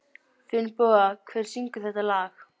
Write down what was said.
Finnboga, hver syngur þetta lag?